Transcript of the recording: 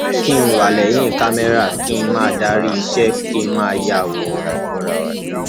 kí n wà lẹyìn kámẹrà kí n máa darí iṣẹ kí n máa ya àwòrán